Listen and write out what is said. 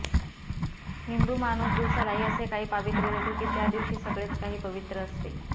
हिंदू माणूस दिवसालाही असे काही पावित्र्य देतो की त्या दिवशी सगळेच काही पवित्र असते